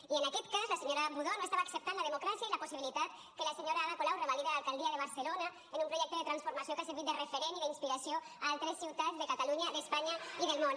i en aquest cas la senyora budó no estava acceptant la democràcia i la possibilitat que la senyora ada colau revalide l’alcaldia de barcelona amb un projecte de transformació que ha servit de referent i d’inspiració altres ciutats de catalunya d’espanya i del món